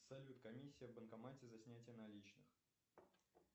салют комиссия в банкомате за снятие наличных